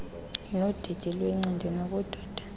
nodidi lwencindi yobudoda